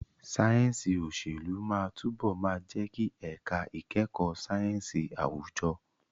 Sáyẹ̀nsì òṣèlú máa túbọ̀ máa jẹ́ ẹ̀ka ìkẹ́kọ̀ọ́ sáyẹ̀nsì àwùjọ.